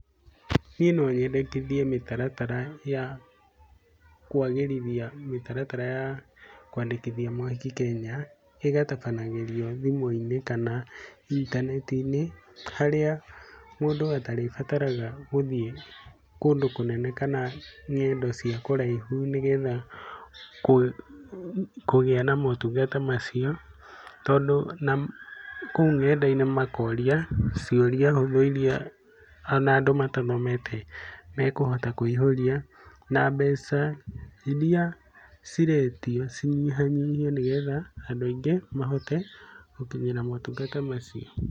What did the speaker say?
Niĩ no nyendekithie mĩtaratara ya kũagĩrithia mĩtaratara ya kũandĩkithia mohiki Kenya, ĩgatabanagĩrio thimũ-inĩ kana intaneti-inĩ. Harĩa mũndũ atarĩbataraga gũthiĩ kũndũ kũnene kana ng'endo cia kũraihu nĩ getha kũgĩa na motungata macio. Tondũ na kũu ng'enda-inĩ makoria ciũria hũthũ on iria andũ arĩa matathomete mekũhota kuihũria. Na mbeca iria ciretio cinyihanyihio nĩ getha andũ aingĩ mahote gũtũmĩra motungata macio.